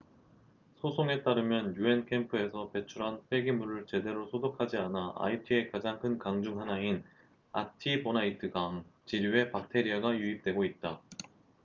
소송에 따르면 un 캠프에서 배출한 폐기물을 제대로 소독하지 않아 아이티의 가장 큰 강 중 하나인 아티보나이트강artibonite river 지류에 박테리아가 유입되고 있다